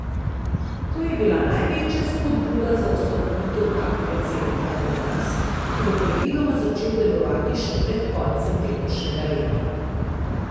To je bila največja spodbuda za ustanovitev takega centra pri nas, ki bo predvidoma začel delovati še pred koncem letošnjega leta.